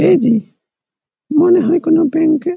AG মনে হয় কোনো ব্যাঙ্ক এ--